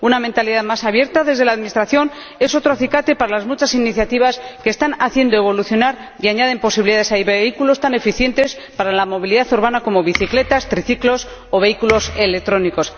una mentalidad más abierta desde la administración es otro acicate para las muchas iniciativas que están haciendo evolucionar y añaden posibilidades a vehículos tan eficientes para la movilidad urbana como las bicicletas, los triciclos o los vehículos electrónicos.